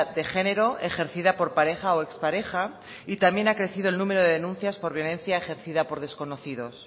de género ejercida por pareja o expareja y también ha crecido el número de denuncias por violencia ejercida por desconocidos